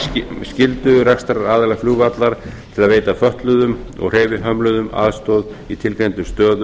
fyrir skyldu rekstraraðila flugvallar til að veita fötluðum og hreyfihömluðum aðstoð á tilgreindum stöðum